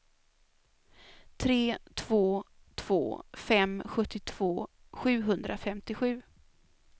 tre två två fem sjuttiotvå sjuhundrafemtiosju